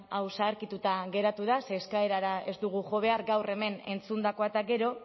hau zaharkituta geratu da ze eskaerara ez dugu jo behar gaur hemen entzundakoak eta gero